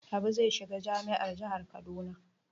Habu zai shiga jami'ar jihar Kaduna.